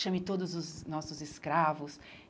Chame todos os nossos escravos.